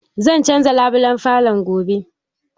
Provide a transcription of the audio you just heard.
Zan canza labulan falon gobe.